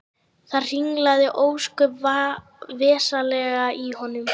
Það hringlaði ósköp vesældarlega í honum.